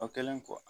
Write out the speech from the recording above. O kɛlen kɔ